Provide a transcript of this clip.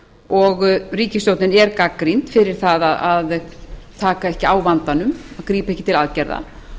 og ríkisstjórnin er gagnrýnd fyrir það að taka ekki á vandanum grípa ekki til aðgerða